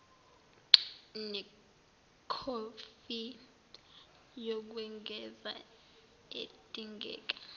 nekhophi yokwengeza edingeka